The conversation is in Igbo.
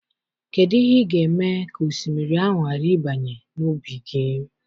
Kedụ ịhe ị ga-eme ka osimiri ahụ ghara ịbanye n'ubi gị?